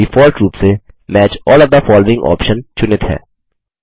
default रूप से match all of the following option चुनित है